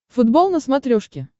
футбол на смотрешке